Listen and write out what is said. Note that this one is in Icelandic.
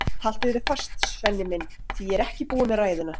Haltu þér fast, Svenni minn, því að ég er ekki búin með ræðuna.